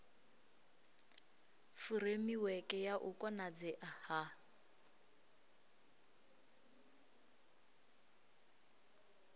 furemiweke ya u konadzea ha